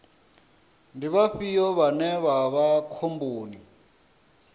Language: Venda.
ndi vhafhio vhane vha vha khomboni